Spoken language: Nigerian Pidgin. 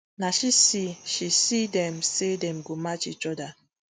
na she see she see dem say dem go match each oda